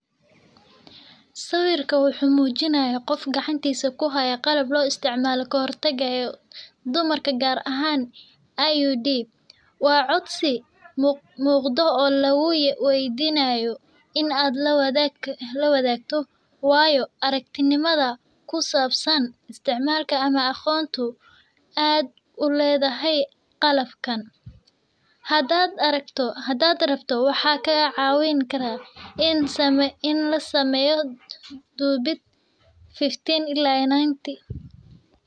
Sawiku waxumujinaya, gof gacantisa kuxaya qalab loisticmalo kaxortaga ee dumarka, qaar ahan IUD, wa codsi mugdo oo laguweydinayo, in aad lawadagtoo wayo aragtinimada kusabsan isticmalka ama aqontu aad uledaxay qalabkan, xadaad rabto waxa kacawinkara, in lasameyoo dubid 15 ila iyo 90.